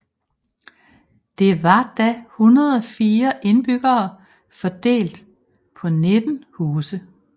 Det var da 104 indbyggere fordelt på 19 huse